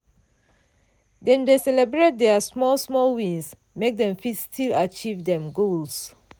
dem dey celebrate deir small-small wins make dem fit still achieve dem goals.